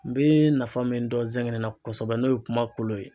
N bee nafa min dɔn zɛgɛnɛ la kosɛbɛ n'o ye kuma kolo ye